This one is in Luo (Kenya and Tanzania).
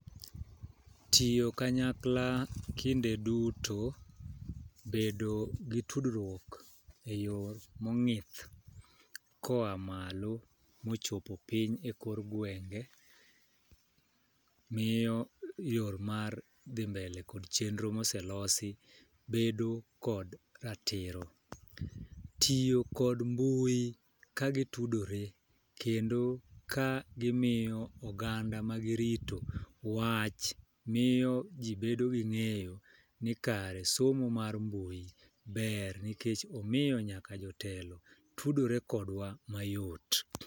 Tiyo kanyakla kinde duto, bedo gi tudruok e yoo mong'ith koa malo mochopo piny e kor gwenge miyo yor mar dhi mbele kod chenro moselosi bedo kod ratiro. Tiyo kod mbui kagi tudore kendo ka gimiyo oganda ma girito wach miyo jii bedo gi ng'eyo ni kare somo mar mbui ber nikech omiyo nyaka jotelo tudore kodwa mayot.